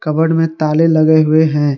Cupboard में ताले लगे हुए हैं।